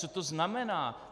Co to znamená?